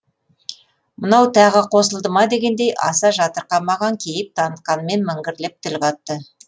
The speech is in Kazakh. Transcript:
мынау тағы қосылды ма дегендей аса жақтырмаған кейіп танытқанымен міңгірлеп тіл қатты